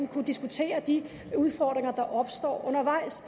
kunne diskutere de udfordringer der opstår undervejs